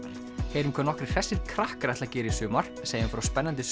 heyrum hvað nokkrir hressir krakkar ætla að gera í sumar segjum frá spennandi